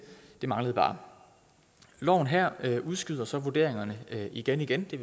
det manglede bare loven her udskyder så vurderingerne igen igen det